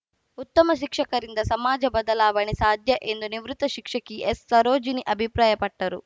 ಉತ್ತಮ ಶಿಕ್ಷಕರಿಂದ ಸಮಾಜ ಬದಲಾವಣೆ ಸಾಧ್ಯ ಎಂದು ನಿವೃತ್ತ ಶಿಕ್ಷಕಿ ಎಸ್‌ಸರೋಜಿನಿ ಅಭಿಪ್ರಾಯಪಟ್ಟರು